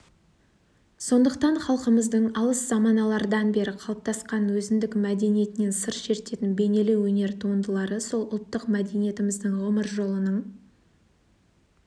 сондықтан халқымыздың алыс заманалардан бері қалыптасқан өзіндік мәдениетінен сыр шертетін бейнелеу өнер туындылары сол ұлттық мәдениетіміздің ғұмыр жолының